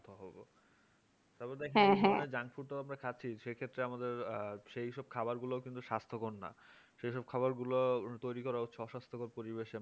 তারপর দেখেন junk food তো আমরা খাচ্ছি সেই ক্ষেত্রে আমাদের সেই সব খাবারগুলো কিন্তু স্বাস্থ্যকর না সেই সব খাবারগুলো তৈরি করা হচ্ছে অস্বাস্থকর পরিবেশে